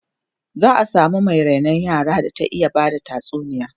za'a samu Mai rainon yara da ta iya Bada tatsuniya